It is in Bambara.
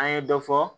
An ye dɔ fɔ